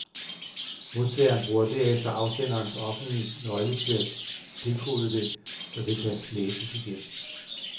Modtageren bruger derefter afsenderens offentlige nøgle til at dekode det, så det kan læses igen.